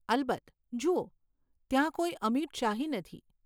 અલબત્ત. જુઓ, ત્યાં કોઈ અમિટ શાહી નથી.